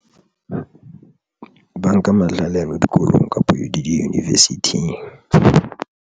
Ba nka mahlale ano dikolong kapo di university-ing.